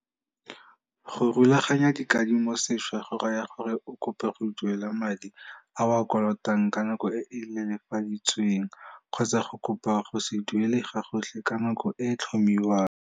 Go rulaganya dikadimo sešwa go raya gore o kope go duela madi a o a kolotang ka nako e e lelefaditsweng, kgotsa go kopa go se duele gagotlhe ka nako e e tlhomiwang.